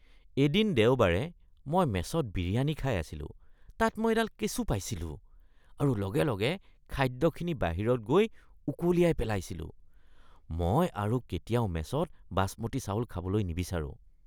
এদিন দেওবাৰে মই মেছত বিৰিয়ানী খাই আছিলোঁ, তাত মই এডাল কেঁচু পাইছিলোঁ আৰু লগে লগে খাদ্যখিনি বাহিৰত গৈ উকলিয়াই পেলাইছিলোঁ। মই আৰু কেতিয়াও মেছত বাছমতী চাউল খাবলৈ নিবিচাৰোঁ।